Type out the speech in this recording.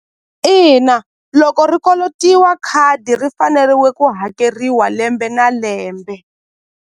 Ina loko ri kolotiwa khadi ri faneriwe ku hakeriwa lembe na lembe.